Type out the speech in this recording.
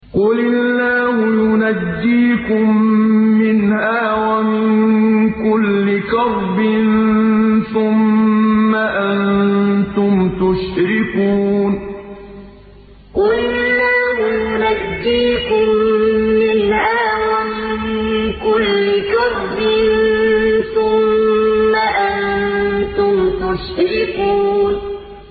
قُلِ اللَّهُ يُنَجِّيكُم مِّنْهَا وَمِن كُلِّ كَرْبٍ ثُمَّ أَنتُمْ تُشْرِكُونَ قُلِ اللَّهُ يُنَجِّيكُم مِّنْهَا وَمِن كُلِّ كَرْبٍ ثُمَّ أَنتُمْ تُشْرِكُونَ